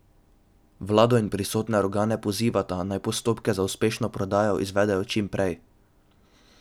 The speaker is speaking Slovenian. Vlado in pristojne organe pozivata, naj postopke za uspešno prodajo izvedejo čim prej.